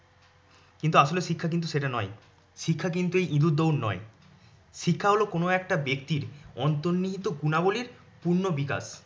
কিন্তু আসলে শিক্ষা কিন্তু সেটা নয়। শিক্ষা কিন্তু ইদুর দৌড় নয়। শিক্ষা হল কোনও একটা ব্যক্তির অন্তর্নিহিত গুণাবলীর পূর্ণবিকাশ